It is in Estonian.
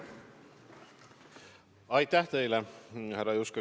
Aitäh teile, härra Juske!